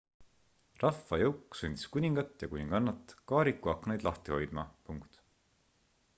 rahvajõuk sundis kuningat ja kuningannat kaariku aknaid lahti hoidma